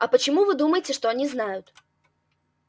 а почему вы думаете что они знают